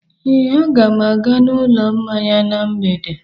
Ee, aga m aga n'ụlọ mmanya na mgbede.